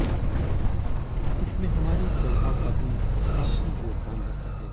इसमें हमारे स्वभाव का भी काफी योगदान रहता है